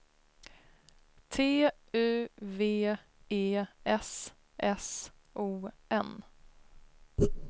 T U V E S S O N